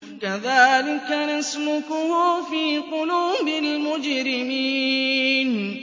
كَذَٰلِكَ نَسْلُكُهُ فِي قُلُوبِ الْمُجْرِمِينَ